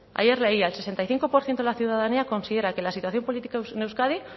ayer leía el sesenta y cinco por ciento de la ciudadanía considera que la situación política en euskadi